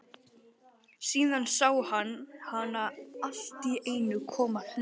Síðan sá hann hana alltíeinu koma hlaupandi.